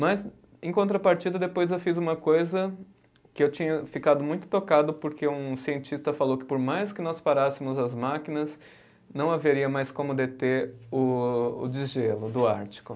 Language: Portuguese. Mas, em contrapartida, depois eu fiz uma coisa que eu tinha ficado muito tocado, porque um cientista falou que por mais que nós parássemos as máquinas, não haveria mais como deter o o desgelo do Ártico.